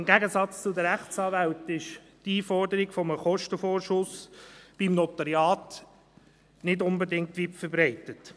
Im Gegensatz zu den Rechtsanwälten ist die Einforderung eines Kostenvorschusses beim Notariat nicht unbedingt weit verbreitet.